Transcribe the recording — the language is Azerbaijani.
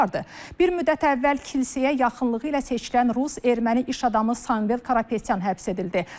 Bir müddət əvvəl kilsəyə yaxınlığı ilə seçilən rus erməni iş adamı Sanvel Karapetyan həbs edildi.